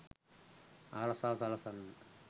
ආරක්‍ෂාව සලසන්නට